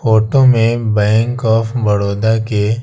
photo में bank of Baroda के--